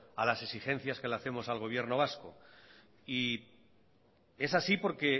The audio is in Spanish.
a las exigencias que le hacemos al gobierno vasco y es así porque